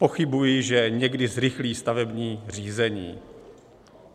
Pochybuji, že někdy zrychlí stavební řízení.